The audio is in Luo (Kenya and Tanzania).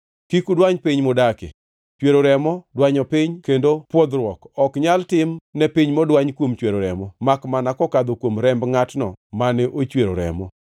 “ ‘Kik udwany piny mudakie. Chwero remo dwanyo piny, kendo pwodhruok ok nyal tim ne piny modwany kuom chwero remo, makmana kokadho kuom remb ngʼatno mane ochwero remo.